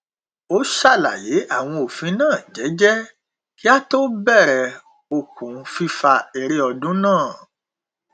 ó ṣàlàyé àwọn òfin náà jẹjẹ kí á tó bẹrẹ okùn fífà eré ọdún náà